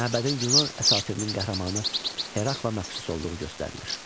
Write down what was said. Məbədin Yunan əsatirinin qəhrəmanı Herakla məxsus olduğu göstərilir.